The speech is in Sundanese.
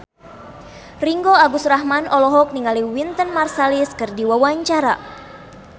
Ringgo Agus Rahman olohok ningali Wynton Marsalis keur diwawancara